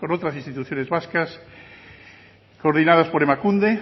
otras instituciones vascas coordinadas por emakunde